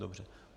Dobře.